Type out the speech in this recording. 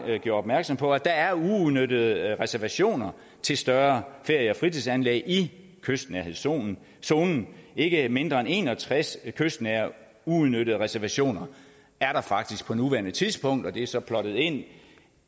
gjorde opmærksom på at der er uudnyttede reservationer til større ferie og fritidsanlæg i kystnærhedszonen ikke mindre end en og tres kystnære uudnyttede reservationer er der faktisk på nuværende tidspunkt og det er så plottet ind